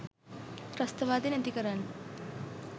ත්‍රස්තවාදය නැති කරන්න